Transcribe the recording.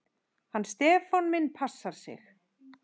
Hann Stefán minn passar sig.